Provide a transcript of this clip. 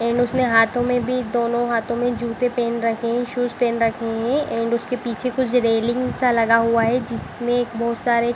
and उसने हाथो में भी दोनों हाथों में जूते पहन रखे है शूज पहन रखे है एंड उसके पीछे कुछ रेलिंग सा लगा हुआ है जिसमे बहोत सारे --